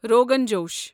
rogan josh